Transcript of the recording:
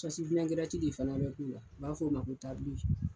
de fana bɛ k'u la u b'a fɔ o ma ko